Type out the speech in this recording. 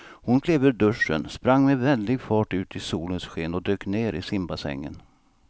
Hon klev ur duschen, sprang med väldig fart ut i solens sken och dök ner i simbassängen.